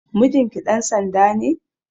Mijinki ɗan sanda ne?